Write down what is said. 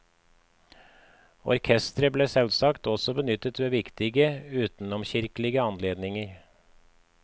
Orkestre ble selvsagt også benyttet ved viktige, utenomkirkelige anledninger.